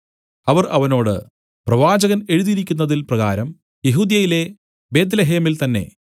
അവർ അവനോട് പ്രവാചകൻ എഴുതിയിരിക്കുന്നതിൻ പ്രകാരം യെഹൂദ്യയിലെ ബേത്ത്ലേഹേമിൽ തന്നേ